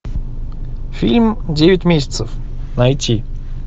фильм девять месяцев найти